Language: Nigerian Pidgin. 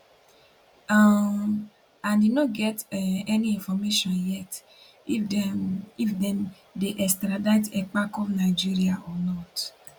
um and im no get um any information yet if dem if dem dey extradite ekpa come nigeria or not